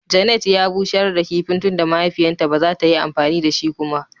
"Janet " ya bushar da kipin tunda mahaifiyan ta ba za ta yi amfani da shi kuma.